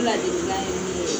O ladelilan ye min ye